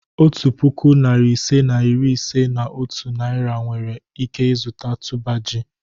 Otu puku, narị ise na iri ise na otu Naira nwere ike zụta tuber ji.